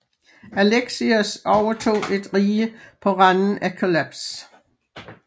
Alexios overtog et rige på randen af kollaps